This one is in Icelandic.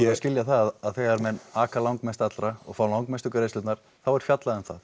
að skilja það að þegar menn aka langmest allra og fá langmestu greiðslurnar þá er fjallað um það